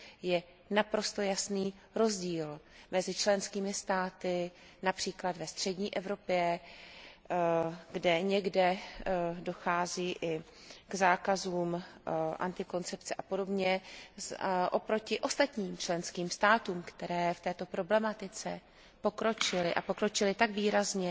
Je naprosto jasný rozdíl mezi členskými státy například ve střední Evropě, kde někde dochází i k zákazům antikoncepce a podobně, oproti ostatním členským státům, které v této problematice pokročily a pokročily tak výrazně,